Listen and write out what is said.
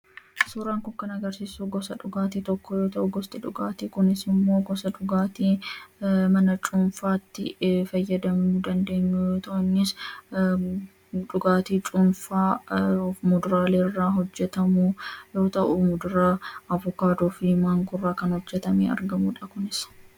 Suuraan kun kan agarsisuu gosaa dhugaatti tokkoo yoo ta'uu, gosti dhugaatti kunis immoo gosaa dhugaatti mana cuunfatti faayadamuu dandeenyuu yoo ta'u, innis dhugaatti cuunfaa muduralee irra hojeetamu yoo ta'u, muduraa Avukadoofi Mangoo irra hojeetamee kan argamudha kunis.